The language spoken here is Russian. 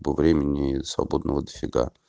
по времени свободного до фига